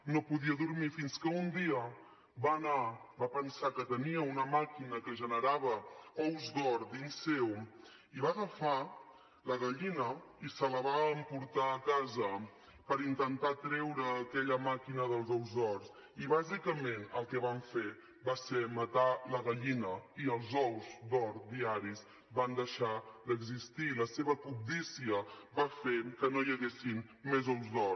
no podia dormir fins que un dia va anar va pensar que tenia una màquina que generava ous d’or dins seu i va agafar la gallina i se la va emportar a casa per intentar treure aquella màquina dels ous d’or i bàsicament el que van fer va ser matar la gallina i els ous d’or diaris van deixar d’existir la seva cobdícia va fer que no hi haguessin més ous d’or